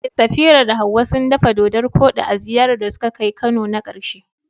Eh, Safira da Hawwa sun dafa dodan-koɗi a ziyarar da suka kai Kano na karshe.